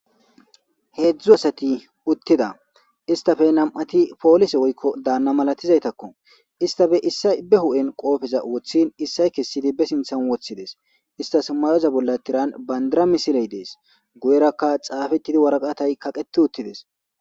Heexhzhu assati uttida isstappe nam'ati pollisse woykko daana malatizayttako isstappe issay be huphphen qoppeza woththin issay kessidi be sinththan woththides isstas mayoza bolla tiiran bandira misdiley dess guyeraka xafetidi waraqattay kaqqeti uttides.